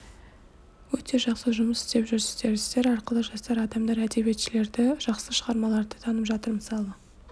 өте жақсы жұмыс істеп жүрсіздер сіздер арқылы жастар адамдар әдебиетшілерді жақсы шығармаларды танып жатыр мысалы